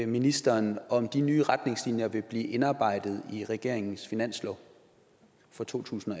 ministeren om de nye retningslinjer vil blive indarbejdet i regeringens finanslov for totusinde